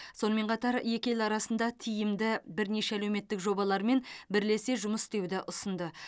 сонымен қатар екі ел арасында тиімді бірнеше әлеуметтік жобалар мен бірлесе жұмыс істеуді ұсынды